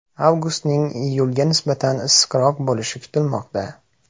Avgustning iyulga nisbatan issiqroq bo‘lishi kutilmoqda.